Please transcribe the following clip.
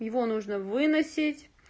его нужно выносить